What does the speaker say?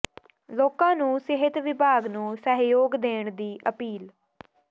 ਲੋਕਾਂ ਨੂੰ ਸਿਹਤ ਵਿਭਾਗ ਨੂੰ ਸਹਿਯੋਗ ਦੇਣ ਦੀ ਅਪੀਲ